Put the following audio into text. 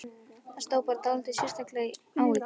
Það stóð bara dálítið sérstaklega á í gær.